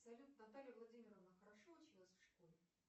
салют наталья владимировна хорошо училась в школе